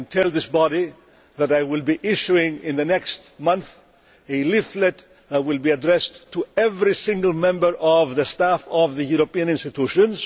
I can tell this body that I will be issuing a leaflet in the next month that will be addressed to every single member of the staff of the European institutions.